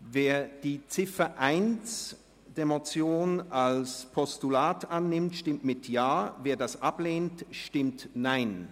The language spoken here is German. Wer die Ziffer 1 der Motion als Postulat annimmt, stimmt Ja, wer dies ablehnt, stimmt Nein.